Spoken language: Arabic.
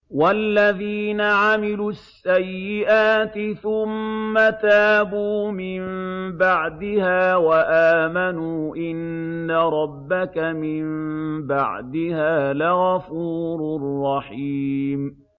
وَالَّذِينَ عَمِلُوا السَّيِّئَاتِ ثُمَّ تَابُوا مِن بَعْدِهَا وَآمَنُوا إِنَّ رَبَّكَ مِن بَعْدِهَا لَغَفُورٌ رَّحِيمٌ